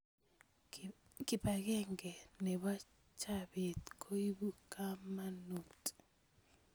Kibakeng nebo chabet koibu kamanut